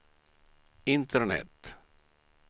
internet